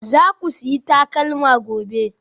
Za ku sayi takalma gobe?